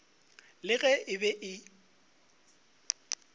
le ge e be e